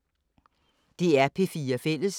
DR P4 Fælles